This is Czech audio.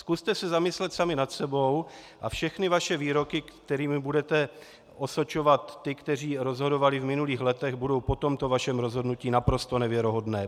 Zkuste se zamyslet sami nad sebou a všechny vaše výroky, kterými budete osočovat ty, kteří rozhodovali v minulých letech, budou po tomto vašem rozhodnutí naprosto nevěrohodné.